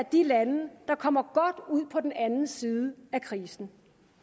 de lande der kommer godt ud på den anden side af krisen